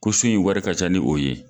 Ko so in wari ka ca ni o ye